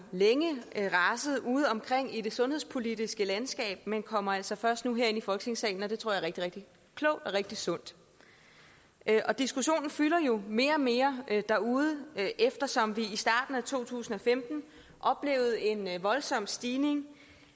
længe raset udeomkring i det sundhedspolitiske landskab men kommer altså først nu herind i folketingssalen og det tror jeg er rigtig rigtig klogt og rigtig sundt diskussionen fylder jo mere og mere derude eftersom vi i starten af to tusind og femten oplevede en voldsom stigning